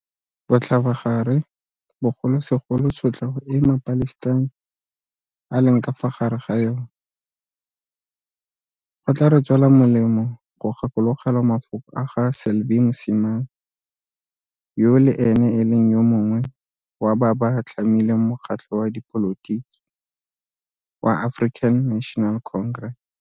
Botlhabagare bogolosegolo tshotlego e maPalestina a leng ka fa gare ga yona, go tla re tswela molemo go gakologelwa mafoko a ga Selby Msimang, yo le ene e leng yo mongwe wa ba ba tlhamileng mokgatlho wa dipolotiki wa African National Congress.